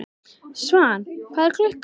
Svan, hvað er klukkan?